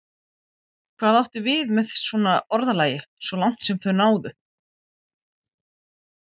Hvað áttu við með svona orðalagi: svo langt sem þau náðu?